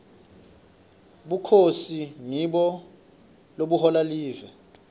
bukhosi ngibo lobuhola live